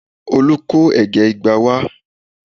Olu kó ẹ̀gẹ́ igba wá